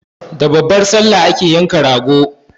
Da babbar Sallah ake yanka rago.